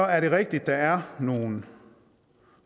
er det rigtigt at der er nogle